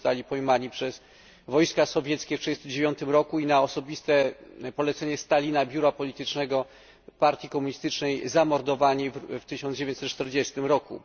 Zostali oni pojmani przez wojska sowieckie w 1939 roku i na osobiste polecenie Stalina, Biura Politycznego Partii Komunistycznej, zamordowani w 1940 roku.